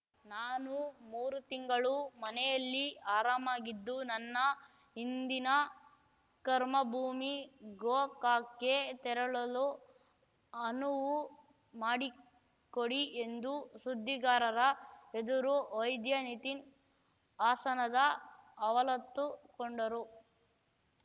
ನಾನು ಮೂರು ತಿಂಗಳು ಮನೆಯಲ್ಲಿ ಆರಾಮಾಗಿದ್ದು ನನ್ನ ಹಿಂದಿನ ಕರ್ಮಭೂಮಿ ಗೋಕಾಕ್ ಗೆ ತೆರಳಲು ಅನುವು ಮಾಡಿಕೊಡಿ ಎಂದು ಸುದ್ದಿಗಾರರ ಎದುರು ವೈದ್ಯ ನಿತೀನ್ ವಾಸನದ ಅವಲತ್ತುಕೊಂಡರು